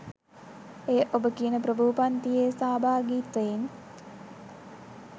එය ඔබ කියන ප්‍රභූ පන්තියේ සහභාගිත්වයෙන්